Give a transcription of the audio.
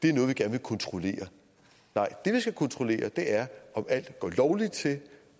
er noget man gerne vil kontrollere nej det vi skal kontrollere er om alt går lovligt til